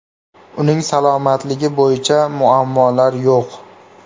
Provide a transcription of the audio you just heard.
Uning salomatligi bo‘yicha muammolar yo‘q.